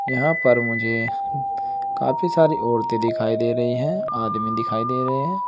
यहां पर मुझे काफी सारी औरते दिखाई दे रही है आदमी दिखाई दे रहे है।